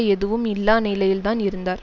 எதுவும் இல்லா நிலையில்தான் இருந்தார்